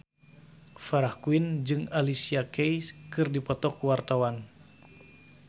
Farah Quinn jeung Alicia Keys keur dipoto ku wartawan